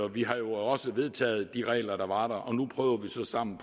vi har jo også vedtaget de regler der var der og nu prøver vi så sammen